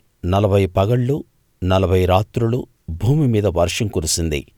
నలభై పగళ్ళు నలభై రాత్రులు భూమి మీద వర్షం కురిసింది